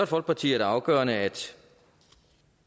folkeparti er det afgørende at